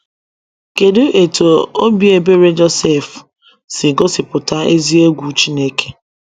Kedu etú obi ebere Josef si gosipụta ezi egwu Chineke?